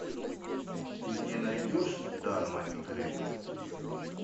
ты мне найдешь дарма и грег